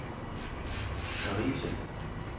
Karise